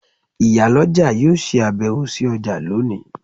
Iyaloja yóò se abewo si oja loni